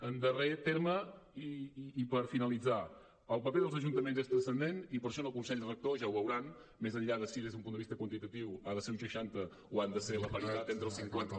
en darrer terme i per finalitzar el paper dels ajuntaments és transcendent i per això en el consell rector ja ho veuran més enllà de si des d’un punt de vista quantitatiu ha de ser un seixanta o ha de ser la paritat entre el cinquanta